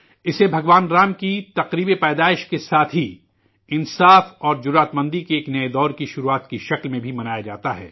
اسے بھگوان رام کے جنم اتسو کے ساتھ ہی انصاف اورپراکرم کے ایک نئے عہد کی شروعات کے طور پر بھی منایا جاتا ہے